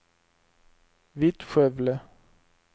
Vittskövle